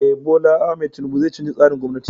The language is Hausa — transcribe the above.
Eh, Bola Ahmad tinubu zai canza tsarin gwamnatin.